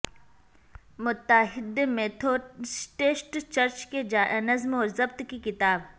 متحدہ Methodist church کے نظم و ضبط کی کتاب